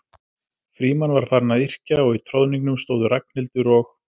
Frímann var farinn að yrkja og í troðningnum stóðu Ragnhildur og